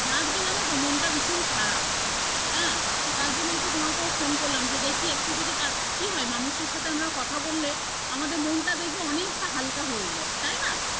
আজকে জানো তো মনটা ভীষণ খারাপ হ্যাঁ তার জন্য একটু তোমাকেও phone করলাম যে দেখি একটু যদি কারো কি হয় মানুষের সাথে আমরাও কথা বললে আমাদের মনটা দেখবে অনেকটা হালকা হয়ে যায় তাই না?